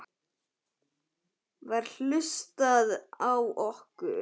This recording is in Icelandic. Var hlustað á okkur?